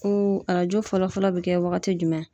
Ko arajo fɔlɔfɔlɔ be kɛ wagati jumɛn?